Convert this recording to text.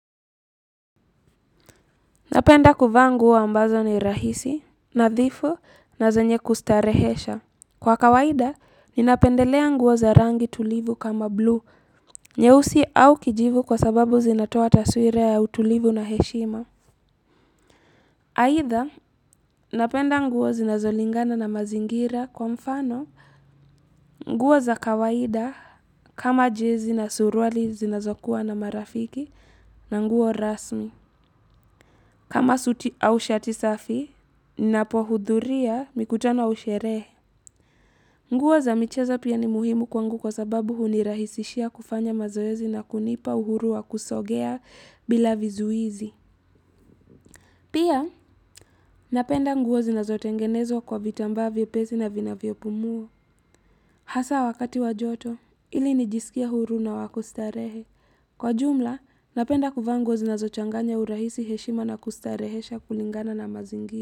Napenda kuvaa nguo ambazo ni rahisi, nadhifu na zanye kustarehesha. Kwa kawaida, ninapendelea nguo za rangi tulivu kama blue, nyeusi au kijivu kwa sababu zinatoa taswira ya utulivu na heshima. Haitha, napenda nguo zinazolingana na mazingira kwa mfano nguo za kawaida kama jezi na suruali zinazokuwa na marafiki na nguo rasmi. Kama suti au shati safi, napohudhuria mikutano au sherehe. Nguo za micheza pia ni muhimu kwangu kwa sababu hunirahisishia kufanya mazoezi na kunipa uhuru wa kusogea bila vizuizi. Pia napenda nguo zinazotengenezwa kwa vitambaa vyepesi na vinavyopumua. Hasa wakati wa joto, ili nijisikie huru na wakustarehe. Kwa jumla, napenda kuvaa nguwa zinazochanganya urahisi heshima na kustarehesha kulingana na mazingira.